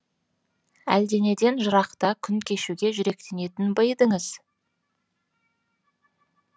әлденеден жырақта күн кешуге жүректенетін ба едіңіз